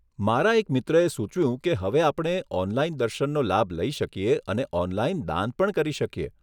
મારા એક મિત્રે સૂચવ્યું કે હવે આપણે ઓનલાઇન દર્શનનો લાભ લઈ શકીએ અને ઓનલાઇન દાન પણ કરી શકીએ.